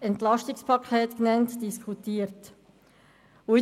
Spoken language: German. EP genannt, diskutiert haben.